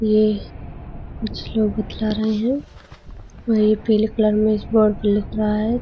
ये कुछ लोग बतला रहे हैं। वही पीले कलर में इस वॉल पे लिख रहा है।